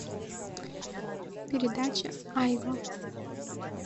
передача айва